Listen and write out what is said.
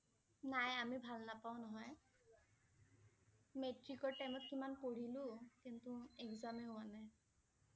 নাই আমি ভাল নাপাওঁ নহয় । মেট্ৰিকৰ time ত ইমান পঢ়িলো কিন্তু exam এ হোৱা নাই।